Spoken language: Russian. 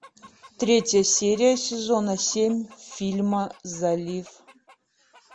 третья серия сезона семь фильма залив